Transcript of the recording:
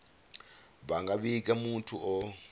vha nga vhiga muthu o